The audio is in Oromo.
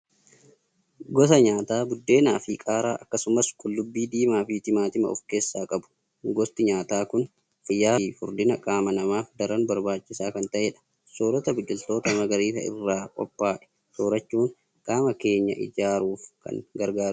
Gosa nyaataa buddeenaa fi qaaraa akkasumas qullubbii diimaa fi timaatima ofkeessaa qabu. Gosti nyaataa kun fayyaa fi furdina qaama namaaf daran barbaachisaa kan ta'edha. Soorata biqiltoota magariisa irraa qophaa'e soorachuun qaama keenya ijaaruuf kan gargaarudha.